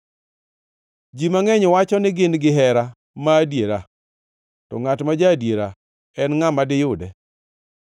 Ji mangʼeny wacho ni gin gihera ma adiera; to ngʼat ma ja-adiera, en ngʼa ma diyude?